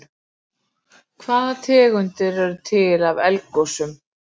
Hvaða tegundir eru til af eldgosum?